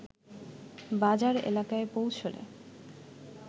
বাজার এলাকায় পৌঁছলে